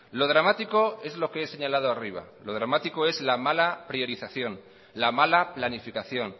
lo dramático es lo que he señalado arriba lo dramático es la mala priorización la mala planificación